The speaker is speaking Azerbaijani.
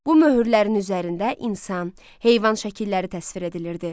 Bu möhürlərin üzərində insan, heyvan şəkilləri təsvir edilirdi.